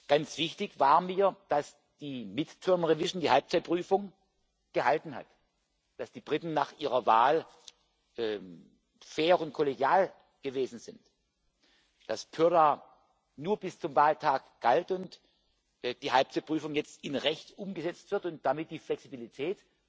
Ganz wichtig war mir, dass die Halbzeitüberprüfung gehalten hat, dass die Briten nach ihrer Wahl fair und kollegial gewesen sind, dass die Purdah nur bis zum Wahltag galt und die Halbzeitüberprüfung jetzt in Recht umgesetzt wird und sich damit die Flexibilität